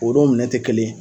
O don minɛn te kelen